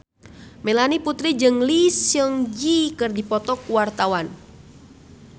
Melanie Putri jeung Lee Seung Gi keur dipoto ku wartawan